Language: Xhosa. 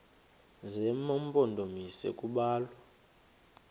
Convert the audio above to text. zema mpondomise kubalwa